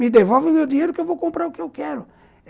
Me devolve o meu dinheiro que eu vou comprar o que eu quero.